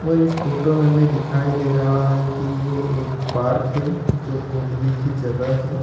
इस फोटो में हमें दिखाई दे रहा है कि यह एक पार्क है जो घूमने की जगह है।